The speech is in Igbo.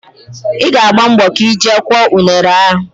Ị ga-agba mbọ ka ị jee kụọ unere a